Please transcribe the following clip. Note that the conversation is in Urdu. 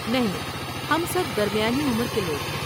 نہیں، ہم سب درمیانی عمر کے لوگ ہیں۔